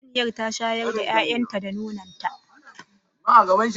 Saniyar ta shayar da 'ya'yanta da nonon ta